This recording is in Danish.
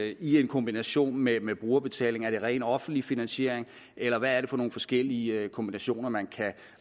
i en kombination med med brugerbetaling er det ren offentlig finansiering eller hvad er det for nogle forskellige kombinationer man kan